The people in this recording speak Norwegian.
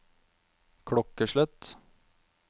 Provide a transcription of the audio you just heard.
klokkeslett